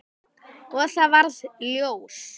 Og það varð ljós.